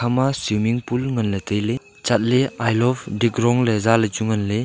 ema swimming pool ngan ley tai ley chat ley I love dikrong ley zah ley chu ngan ley.